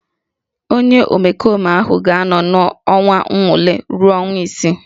Onye omekome ahụ ga-anọ n'oge nnwale ruo ọnwa isii